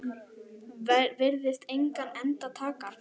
Virðist engan enda taka.